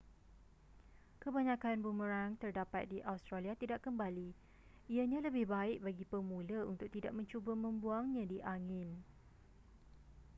kebanyakan boomerang terdapat di australia tidak kembali ianya lebih baik bagi pemula untuk tidak mencuba membuangnya di angin